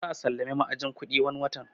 Za a sallami ma'ajin kuɗi wani watan